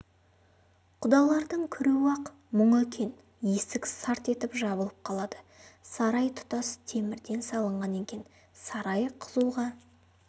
құдалардың кіруі-ақ мұң екен есік сарт етіп жабылып қалады сарай тұтас темірден салынған екен сарай қызуға